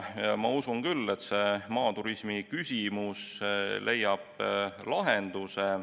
Ma usun küll, et see maaturismiküsimus leiab lahenduse.